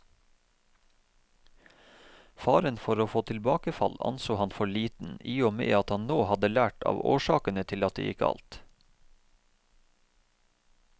Faren for å få tilbakefall anså han for liten i og med at han nå hadde lært av årsakene til at det gikk galt.